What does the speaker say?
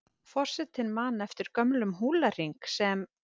Forsetinn man eftir gömlum húlahring sem